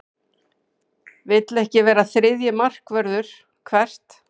Vill ekki vera þriðji markvörður Hvert?